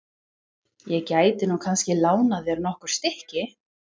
Ég gæti nú kannski lánað þér nokkur stykki.